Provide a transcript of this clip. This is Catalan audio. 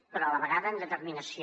però a la vegada amb determinació